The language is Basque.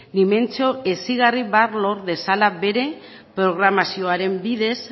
dimentsio hezigarri bat lor dezala bere programazioaren bidez